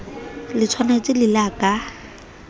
le tshwantshe le la ka